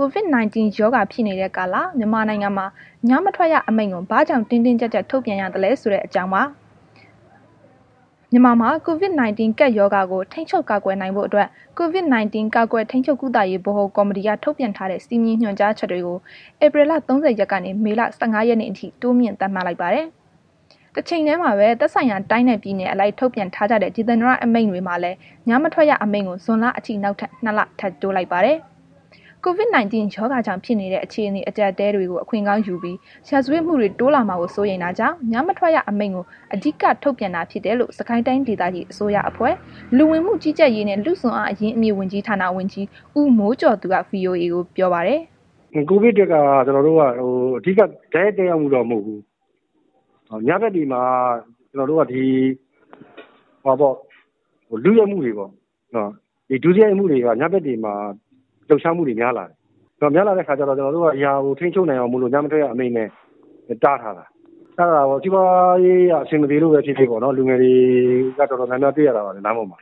COVID-19 ရောဂါဖြစ်နေတဲ့ ကာလ မြန်မာနိုင်ငံမှာ ညမထွက်ရအမိန့်ကို ဘာကြောင့် တင်းတင်းကြပ်ကြပ် ထုတ်ပြန်ရသလဲဆိုတဲ့ အကြောင်းကို ဗွီအိုအေမြန်မာပိုင်းသတင်းထောက် မအိမ့်သန္တာထွန်းက တင်ဆက်ပေးပါမယ်။ မြန်မာမှာ COVID-19 ကပ်ရောဂါကို ထိန်းချုပ်ကာကွယ်နိုင်ဖို့အတွက် COVID-19 ကာကွယ် ထိန်းချုပ် ကုသရေး ဗဟို ကော်မတီက ထုတ်ပြန်ထားတဲ့ စည်းမျဉ်း၊ ညွှန်ကြားချက် တွေကို ဧပြီလ ၃၀ ရက်ကနေ မေလ ၁၅ ရက်နေ့ အထိ တိုးမြှင့် သတ်မှတ်လိုက်ပါတယ်။ တချိန်တည်းမှာပဲ သက်ဆိုင်ရာတိုင်းနှင့် ပြည်နယ်အလိုက် ထုတ်ပြန်ထားကြတဲ့ ဒေသန္တရအမိန့်တွေမှာလည်း ညမထွက်ရအမိန့်ကို ဇွန်လအထိ နောက်ထပ် နှစ်လ ထပ်တိုးလိုက်ပါတယ်။ COVID-19 ရောဂါကြောင့် ဖြစ်နေတဲ့ အခြေအနေ အကြပ်အတည်းတွေကို အခွင့်ကောင်းယူပြီး ရာဇဝတ်မှုတွေ တိုးလာမှာကို စိုးရိမ်တာကြောင့် ညမထွက်ရအမိန့်ကို အဓိက ထုတ်ပြန်တာဖြစ်တယ်လို့ စစ်ကိုင်းတိုင်းဒေသကြီး အစိုးရအဖွဲ့ လူဝင်မှုကြီးကြပ်ရေးနှင့် လူ့စွမ်းအားအရင်အမြစ် ဝန်ကြီးဌာန ဝန်ကြီး ဦးမိုးကျော်သူက ဗွီအိုအေကို ပြောပါတယ်။ “COVID အတွက်က တိုက်ရိုက်သက်ရောက်မှုတော့ မဟုတ်ဘူး။ ညဘက်တွေမှာ ကျနော်တို့က လုရိုက်မှုတွေပေါ့၊ ဒုစရိုက်မှုတွေက ညဘက်တွေမှာ လှုပ်ရှားမှုတွေ များလာတယ်။ အဲ့ဒီလို များလာတဲ့ အခါကျတော့ ကျနော်တို့က ထိန်းချုပ်နိုင်အောင်လို့ ညမထွက်ရအမိန့်နဲ့ တားထားတာ။ စီးပွားရေးအရ အဆင်မပြေလို့ပဲဖြစ်ဖြစ်ပေါ့ လူငယ်တွေ တော်တော်များများ တွေ့လာရပါတယ်။ လမ်းပေါ်မှာ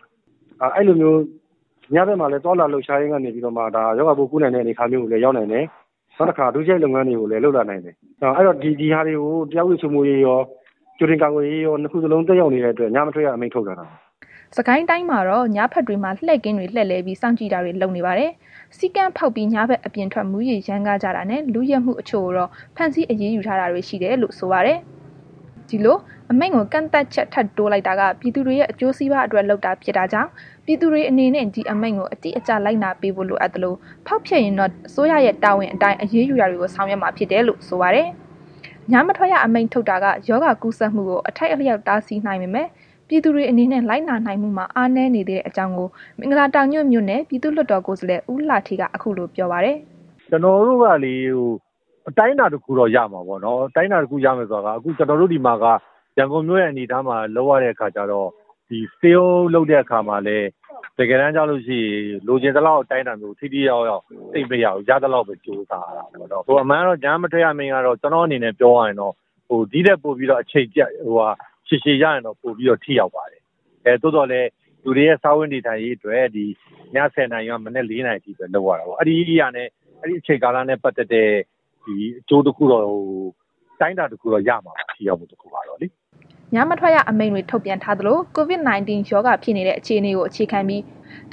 အဲ့လိုမျိုး ညဘက်မှာလည်း သွားလာလှုပ်ရှားရင်းက နေပြီးတော့မှ ရောဂါပိုးကူးနိုင်တဲ့ အနေအထားမျိုးကိုလည်း ရောက်နိုင်တယ်။ နောက်တစ်ခါ ဒုစရိုက်လုပ်ငန်းတွေကိုလည်း လုပ်လာနိုင်တယ်။ အဲ့တော့ ဒီဟာတွေကို တရားဥပဒေစိုးမိုးရေးရော ကြိုတင်ကာကွယ်ရေးရော နှစ်ခုစလုံး သက်ရောက်နေတဲ့အတွက် ညမထွက်ရအမိန့်ကို ထုတ်တာဖြစ်တယ်။” စစ်ကိုင်းတိုင်းမှာတော့ ညဘက်တွေမှာ လှည့်ကင်းတွေ လှည့်လည်ပြီး စောင့်ကြည့်တာတွေ လုပ်နေပါတယ်။ စည်းကမ်းဖောက်ပြီး ညဘက် အပြင်ထွက် မူးယစ်ရမ်းကားကြတာနဲ့ လုယက်မှု အချို့ကိုတော့ ဖမ်းဆီး အရေးယူထားတာရှိတယ်လို့ ဆိုပါတယ်။ ဒီလို အမိန့်ကို ကန့်သတ်ချက် ထပ်တိုးလိုက်တာက ပြည်သူတွေရဲ့ အကျိုးစီးပွားအတွက် လုပ်တာဖြစ်တာကြောင့် ပြည်သူတွေအနေနဲ့ ဒီအမိန့်ကို အတိအကျ လိုက်နာပေးဖို့ လိုအပ်သလို ဖောက်ဖျက်ရင်တော့ အစိုးရရဲ့ တာဝန်အတိုင်း အရေးယူတာတွေကို ဆောင်ရွက်မှာဖြစ်တယ်လို့ ဆိုပါတယ်။ ညမထွက်ရ အမိန့်ထုတ်တာက ရောဂါကူးစက်မှုကို အထိုက်အလျောက် တားဆီးနိုင်ပေမဲ့ ပြည်သူတွေအနေနဲ့ လိုက်နာနိုင်မှုမှာ အားနည်းနေသေးတဲ့အကြောင်းကို မင်္ဂလာတောင်ညွှန့် မဲဆန္ဒနယ် အမှတ် ၁ က ရန်ကုန်တိုင်းဒေသကြီး လွှတ်တော်ကိုယ်စားလှယ် ဦးလှဌေးက အခုလို ပြောပါတယ်။ “ကျနော်တို့ကလေ အတိုင်းအတာတခုတော့ ရမှာပေါ့နော်။ အတိုင်းအတာတခုဆိုတာက ကျနော်တို့ ဒီမှာက ရန်ကုန်မြို့ရဲ့ အနေအထားမှာက လုပ်ရတဲ့ အခါကျတော့ ဒီစည်းရုံးရေးလုပ်တဲ့ အခါ တကယ်တမ်းကျလို့ရှိရင် လိုချင်သလောက်အတိုင်းအတာမျိုး ထိထိရောက်ရောက် သိပ်မရဘူး။ ရသလောက်ကို ကြိုးစားရတာပဲနှော်၊ အမှန်ကတော့ ညမထွက်ရအမိန့်ကတော့ ကျနော့်အနေနဲ့ ပြောရရင်တော့ ဒီထက်ပိုပြီးတော့ အချိန်ရှည်ရှည်ရရင်တော့ ပိုပြီးတော့ ထိရောက်ပါတယ်။ သို့သော်လည်း လူတွေရဲ့ စားဝတ်နေထိုင်ရေးအတွက် ဒီ ည ၁၀ နာရီက မနက် ၄ နာရီထိပဲလုပ်ရတယ် ပေါ့။ အဲ့ဒီအချိန်ကာလနဲ့ ပတ်သက်တဲ့ အကျိုးတစ်ခုတော့ အတိုင်းတာတခုတော့ ရမှာပါ ထိရောက်မှုကတော့။” ညမထွက်ရအမိန့်တွေ ထုတ်ပြန်ထားသလို COVID-19 ရောဂါဖြစ်နေတဲ့ အခြေအနေကို အခြေခံပြီး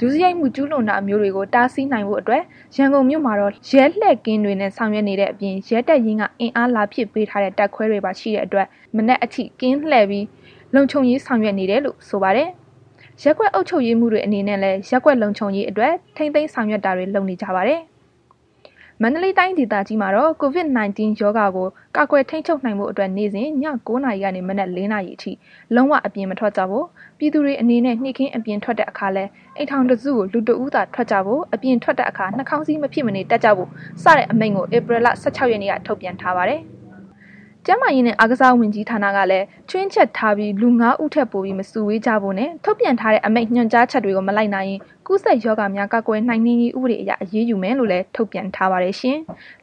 ဒုစရိုက်မှု ကျူးလွန်တာမျိုးတွေကို တားဆီးနိုင်ဖို့အတွက် ရန်ကုန်မြို့မှာတော့ ရဲလှည့်ကင်းတွေနှင့် ဆောင်ရွက်နေကြတဲ့ အပြင် ရဲတပ်ရင်းက အင်အားလာဖြည့်ပေးထားတဲ့ တပ်ခွဲတွေ ပါရှိတဲ့အတွက် မနက်အထိ ကင်းလှည့်ပြီး လုံခြုံရေးဆောင်ရွက်နေတယ်လို့ ဆိုပါတယ်။ ရပ်ကွက်အုပ်ချုပ်ရေးမှူးတွေအနေနဲ့လည်း ရပ်ကွက်လုံခြုံရေးအတွက် ထိန်းသိမ်းဆောင်ရွက်တာတွေ လုပ်နေကြပါတယ်။ မန္တလေးတိုင်းဒေသကြီးမှာလည်း COVID-19 ရောဂါကို ကာကွယ်ထိန်းချုပ်နိုင်ဖို့အတွက် နေ့စဉ် ည ၉ နာရီကနေ မနက် ၄ နာရီအထိ လုံးဝ အပြင်မထွက်ကြဖို့ ပြည်သူတွေအနေနဲ့ နေ့ခင်း အပြင်ထွက်တဲ့အခါလည်း အိမ်ထောင်တစုကို လူတစ်ဦးသာ ထွက်ကြဖို့ အပြင်ထွက်တဲ့အခါ နှာခေါင်းစည်း မဖြစ်မနေတပ်ကြဖို့ စတဲ့ အမိန့်ကို ဧပြီလ ၁၆ ရက်နေ့က ထုတ်ပြန်ထားပါတယ်။ ကျန်းမာရေးနှင့် အားကစားဝန်ကြီးဌာနကလည်း ခြွင်းချက်ထားပြီး လူ ငါးဦးထက်ပိုပြီးမစုဝေးကြဖို့နဲ့ ထုတ်ပြန်ထားတဲ့ အမိန့်ညွှန်ကြားချက်တွေကို မလိုက်နာရင် ကူးစက်ရောဂါများ ကာကွယ်နှိမ်နင်းရေး ဥပဒေအရ အရေးယူမယ်လို့ ထုတ်ပြန်ထားပါတယ်ရှင်။